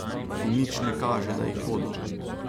In nič ne kaže, da jih bodo.